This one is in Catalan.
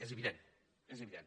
és evident és evi·dent